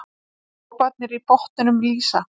Droparnir í botninum lýsa.